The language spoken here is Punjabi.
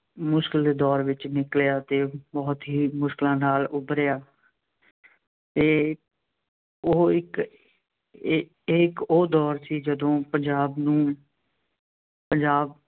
ਮੁਸ਼ਕਿਲ ਦੇ ਦੌਰ ਵਿੱਚੋਂ ਨਿਕਲਿਆ ਅਤੇ ਬਹੁਤ ਹੀ ਮੁਸ਼ਕਿਲਾਂ ਨਾਲ ਉੱਭਰਿਆ। ਅਤੇ ਉਹ ਇੱਕ ਇਹ ਇਹ ਇੱਕ ਉਹ ਦੌਰ ਸੀ ਜਦੋਂ ਪੰਜਾਬ ਨੂੰ ਪੰਜਾਬ